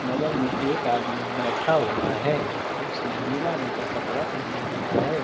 बगल में एक आदमी बैठा हुआ है इसने नीला रंग का कपड़ा पहना हुआ है।